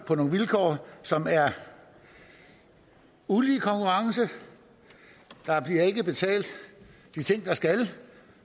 på nogle vilkår som er ulige konkurrence der bliver ikke betalt de ting der skal